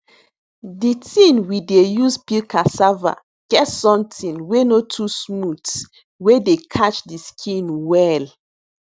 di tin we dey use peel cassava get somtin wey no too smooth wey dey catch di skin well